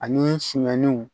Ani sumɛniw